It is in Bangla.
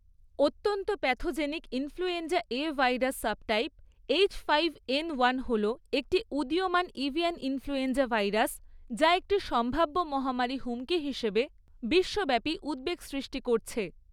অত্যন্ত pathogenic influenza 'A' virus subtype 'H five N one' হল একটি উদীয়মান এভিয়ান ইনফ্লুয়েঞ্জা ভাইরাস, যা একটি সম্ভাব্য মহামারী হুমকি হিসেবে বিশ্বব্যাপী উদ্বেগ সৃষ্টি করছে।